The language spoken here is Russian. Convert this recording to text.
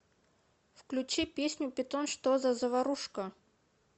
включи песню питон что за заварушка